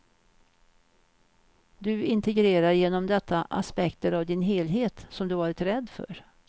Du integrerar genom detta aspekter av din helhet som du varit rädd för.